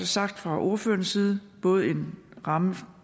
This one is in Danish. sagt fra ordførernes side både en ramme